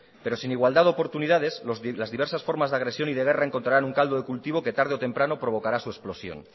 pero sin igualdad de oportunidades las diversas formas de agresión y de guerra encontrarán un caldo de cultivo que tarde o temprano provocará su explosión